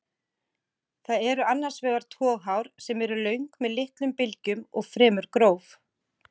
Það eru annars vegar toghár sem eru löng með litlum bylgjum og fremur gróf.